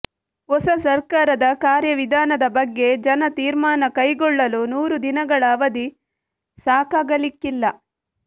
ಹೊಸ ಸಕರ್ಾರದ ಕಾರ್ಯವಿಧಾನದ ಬಗ್ಗೆ ಜನ ತೀಮರ್ಾನ ಕೈಗೊಳ್ಳಲು ನೂರು ದಿನಗಳ ಅವಧಿ ಸಾಕಾಗಲಿಕ್ಕಿಲ್ಲ